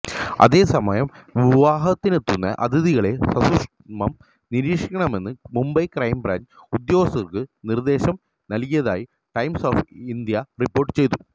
അതേസമയം വിവാഹത്തിനെത്തുന്ന അതിഥികളെ സസൂഷ്മം നിരീക്ഷിക്കണമെന്ന് മുംബൈ ക്രൈംബ്രാഞ്ച് ഉദ്യോഗസ്ഥര്ക്ക് നിര്ദ്ദേശം നല്കിയതായി ടൈംസ് ഓഫ് ഇന്ത്യ റിപ്പോര്ട്ട് ചെയ്തു